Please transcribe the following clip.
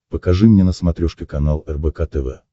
покажи мне на смотрешке канал рбк тв